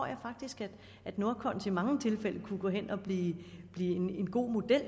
jeg faktisk at nordkons i mange tilfælde kunne gå hen og blive en god model